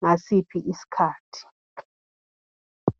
ngasiphi isikhathi.